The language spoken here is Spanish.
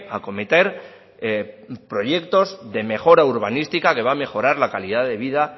acometer proyectos de mejora urbanística que va a mejorar la calidad de vida